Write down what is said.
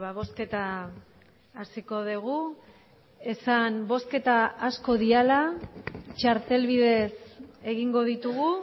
bozketa hasiko dugu esan bozketa asko direla txartel bidez egingo ditugu